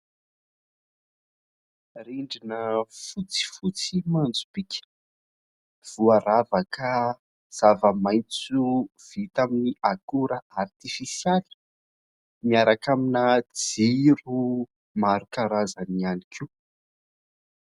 Rindrina fotsifotsy manjopiaka, voaravaka zava-maintso vita amin'ny akora artifisialy, miaraka amina jiro maro karazany ihany koa.